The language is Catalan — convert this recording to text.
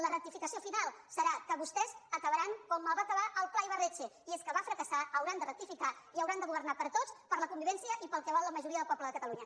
la rectificació final serà que vostès acabaran com va acabar el pla ibarretxe i és que va fracassar hauran de rectificar i hauran de governar per a tots per a la convivència i per al que vol la majoria del poble de catalunya